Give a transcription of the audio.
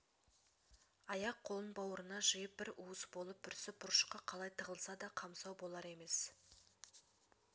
аяқ-қолын бауырына жиып бір уыс болып бүрсіп бұрышқа қалай тығылса да қамсау болар емес